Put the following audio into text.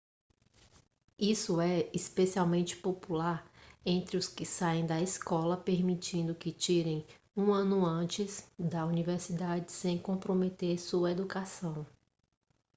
isso é especialmente popular entre os que saem da escola permitindo que tirem um ano antes da universidade sem comprometer sua educação